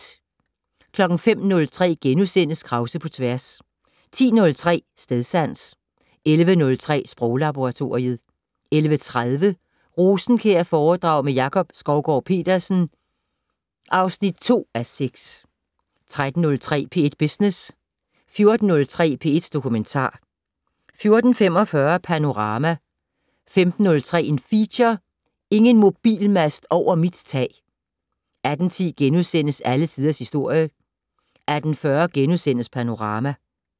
05:03: Krause på tværs * 10:03: Stedsans 11:03: Sproglaboratoriet 11:30: Rosenkjærforedrag med Jakob Skovgaard-Petersen (2:6) 13:03: P1 Business 14:03: P1 Dokumentar 14:45: Panorama 15:03: Feature: Ingen mobilmast over mit tag 18:10: Alle Tiders Historie * 18:40: Panorama *